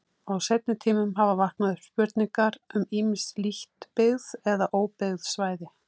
Á seinni tímum hafa vaknað upp spurningar um ýmis lítt byggð eða óbyggð svæði.